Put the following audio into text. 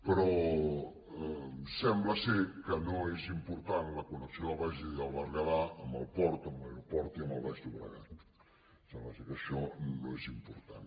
però sembla que no és important la connexió del bages i del berguedà amb el port amb l’aeroport i amb el baix llobregat sembla que això no és important